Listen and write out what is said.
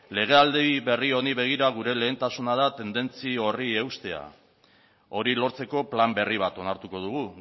legealdi berri honi begira gure lehentasuna da tendentzia horri eustea hori lortzeko plan berri bat onartuko dugu